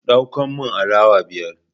Dauko min alawa biyar